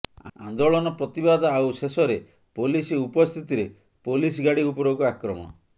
ଆନ୍ଦୋଳନ ପ୍ରତିବାଦ ଆଉ ଶେଷରେ ପୋଲିସ ଉପସ୍ଥିତିରେ ପୋଲିସ ଗାଡି ଉପରକୁ ଆକ୍ରମଣ